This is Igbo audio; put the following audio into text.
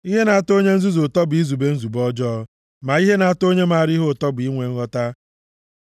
Ihe na-atọ onye nzuzu ụtọ bụ izube nzube ọjọọ; ma ihe na-atọ onye maara ihe ụtọ bụ inwe nghọta.